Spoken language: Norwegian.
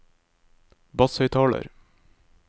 basshøyttaler